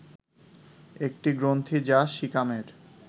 একটি গ্রন্থি যা সিকামের